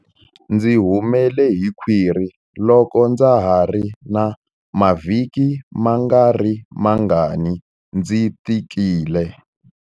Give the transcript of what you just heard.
Ndzi humele hi khwiri loko ndza ha ri na mavhiki mangarimangani ndzi tikile.